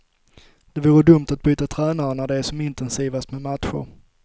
Det vore dumt att byta tränare när det är som intensivast med matcher.